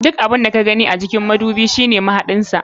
Duk abun da ka gani a cikin madubi shine mahaɗin sa.